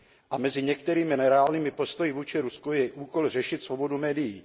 A mezi některými nereálnými postoji vůči Rusku je i úkol řešit svobodu médií.